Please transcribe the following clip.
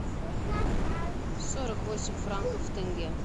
сорок восемь франков в тенге